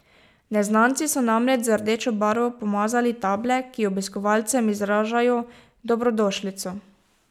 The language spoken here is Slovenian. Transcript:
Neznanci so namreč z rdečo barvo pomazali table, ki obiskovalcem izražajo dobrodošlico.